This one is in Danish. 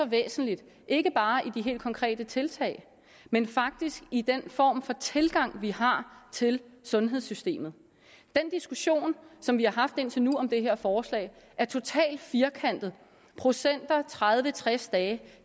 væsentligt ikke bare i de helt konkrete tiltag men faktisk i den form for tilgang vi har til sundhedssystemet den diskussion som vi har haft indtil nu om det her forslag er totalt firkantet procenter tredive tres dage